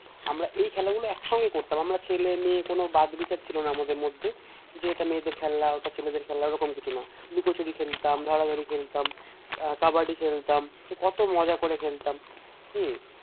আমরা এই খেলাগুলো এক সঙ্গে করতাম আমরা ছেলে মেয়ে কোনো বাঁধ বিচার ছিলনা আমাদের মধ্যে যে এটা মেয়েদের খেলা ওটা ছেলেদের খেলা ওরকম কিছু না লুকোচুরি খেলতাম ধরাধরি খেলতাম আহ কাবাডি খেলতাম কত মজা করে খেলতাম